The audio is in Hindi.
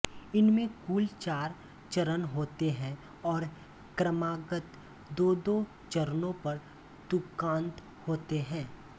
इसमें कुल चार चरण होते हैं और क्रमागत दोदो चरणों पर तुकांत होते हैं